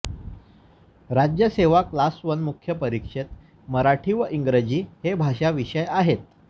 राज्यसेवा class one मुख्य परीक्षेत मराठी व इंग्रजी हे भाषा विषय आहेत